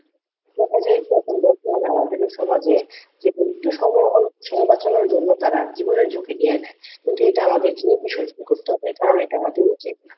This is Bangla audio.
দেখা যায় যে এখন বর্তমানে আমাদের এই সমাজে যে একটু সময় অল্প সময় বাঁচানোর জন্য তারা জীবনের ঝুঁকি নিয়ে নেয় কিন্তু এটা আমাদের জন্য বিসর্জন করতে হবে কারণ এটা আমাদের উচিত না